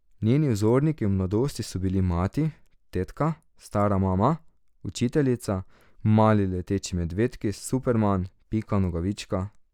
Njeni vzorniki v mladosti so bili mati, tetka, stara mama, učiteljica, Mali leteči medvedki, Superman, Pika Nogavička ...